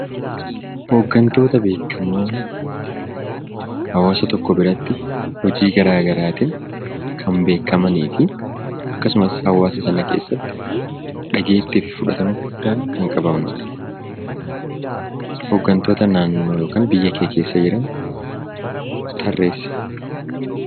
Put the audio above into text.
Hooggantoota beekkamoo hawaasa tokko biratti hojii garaa garaatiin kan beekkamanii fi akkasumas hawaasa sana keessatti dhageettii fi fudhatama kan qabanudha. Hooggantoota naannoo yookan biyya kee keessa jiran tarreessi.